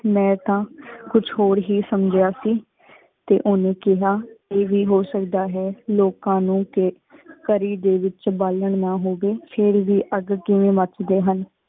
ਮੈਂ ਤਾਂ ਕੁਛ ਹੋਰ ਹੀ ਸਮ੍ਜੇਯਾ ਸੀ ਤੇ ਓਨੇ ਕੇਹਾ, ਏ ਵੀ ਹੋ ਸਕਦਾ ਹੈਂ ਲੋਕਾ ਨੂ ਕੀ ਕਰੀ ਦੇ ਵੇਚ ਬਾਲਣ ਨਾ ਹੋਵੇ ਫੇਰ ਬੀ ਅਗ ਕਿਵੇਂ ਮੱਚਦੇ ਹਨ।